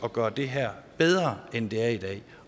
at gøre det her bedre end det er i dag